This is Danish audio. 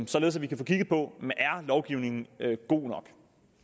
således at vi kan få kigget på om lovgivningen er god nok